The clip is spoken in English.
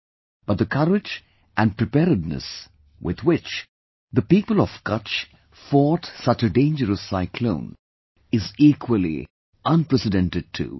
But, the courage and preparedness with which the people of Kutch fought such a dangerous cyclone is equally unprecedented too